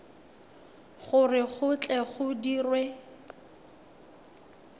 gore go tle go dirwe